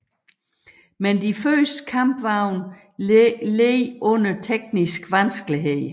Men de første kampvogne led under tekniske vanskeligheder